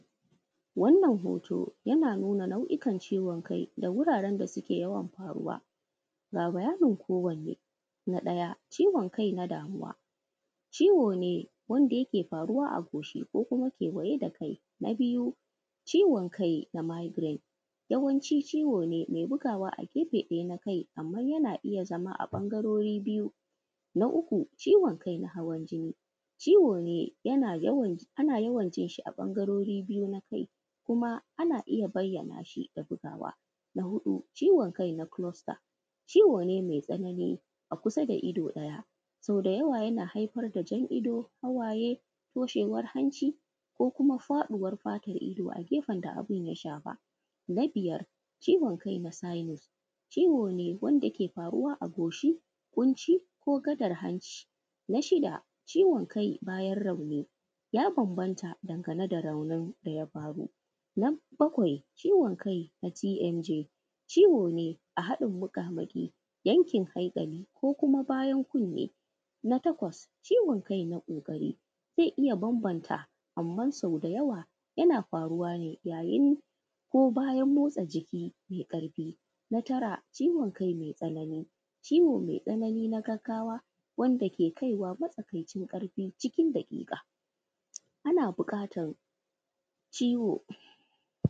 Wannan hoto yana nuna nau’ikan ciwon kai da wuraren da suke yawan faruwa ga bayanin kowane na ɗaya ciwon kai na damuwa ciwo ne wanda yake faruwa a goshi ko kewaye da kai, na biyu ciwon kai na migirate yawanci ciwo ne mai bugawa a gefe ɗaya na kai yana iya zama ɓangarori biyu. Na uku ciwon kai na hawan jini ciwo ne yana yawan jin shi a ɓangarori biyu na kai kuma ana iya bayyana shi da bugawa, na huɗu ciwon kai na closter ciwo ne mai tsanani a kusa da ido ɗaya so da yawa yana haifar da jan ido, hawaye, toshewar hanci ko kuma faɗuwar fatan ido a gefen da ya shafa, na biyar ciwon kai na synous ciwo ne wanda ke faruwa a goshi ƙunci ko gadar hanci, na shida ciwon kai bayan rauni ya fi bambanta game da raunin da ya faru. Na bakwai ciwon kai na TMJ ciwo ne a haɗin muƙamuƙi yankin haiƙali ko kuma bayan kuni, na takwas ciwon kai na ƙoƙari zai iya bambanta, amma sau da yawa yana faruwa ne yayin ko bayan motsa jiki na ƙarfi, na tara ciwon kai mai tsanani, ciwo mai tsanani na gagawa wanda ke kaiwa matsakaicin ƙarfi cikin daƙiƙa ana buƙatar ciwo.